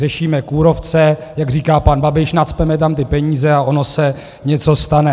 Řešíme kůrovce - jak říká pan Babiš, nacpeme tam ty peníze, a ono se něco stane.